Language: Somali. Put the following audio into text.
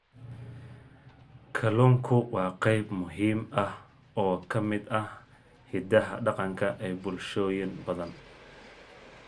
Kalluunku waa qayb muhiim ah oo ka mid ah hiddaha dhaqanka ee bulshooyin badan.